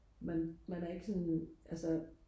man man er ikke sådan altså